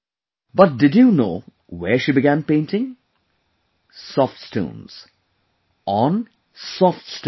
But, did you know where she began painting Soft Stones, on Soft Stones